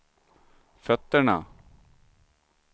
fötterna